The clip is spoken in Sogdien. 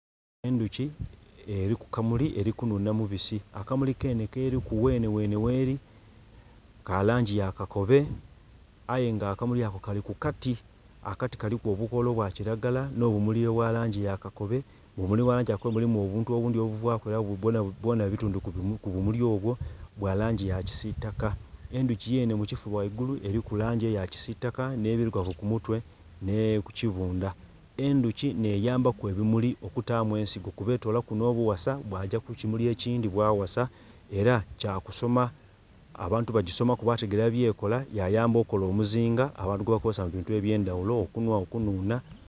Endhuki eri ku kamuli eri kunhunha mubisi akamuli kenhe keriku ghenheghenhe gheri ka langi ya kakobe aye nga akamuli ako kali ku kati akati kaliku obukola obwa kiragala n'obumuli obwa langi ya kakobe, mu bumuli obwa langi ya kakobe mulimu obuntu obuvaku, bwona bitundhu ku bumuli obwo, bwa langi ya kisiitaka. Endhuki yenhe mu kifuba ghaigulu eriku langi eya kisitaka n'endhirugavu ku mutwe ni ku kibundha, endhuki nheyambaku ebimuli okutaamu ensigo kuba etoola kuno obuwasa bwagya ku kimuli ekindhi bwawasa era kyakusoma, bantu bagisomaku bategeera byekola, yayamba okola omuzinga abantu gwebakozesa mu bintu eby'endhaghulo okunhwa, okunhunha.